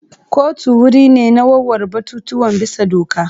Kotu wuri ne na warware batutuwan bisa doka.